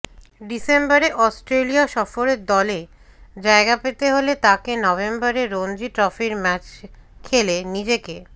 ডিসেম্বরে অস্ট্রেলিয়া সফরের দলে জায়গা পেতে হলে তাঁকে নভেম্বরে রঞ্জি ট্রফির ম্যাচ খেলে নিজেকে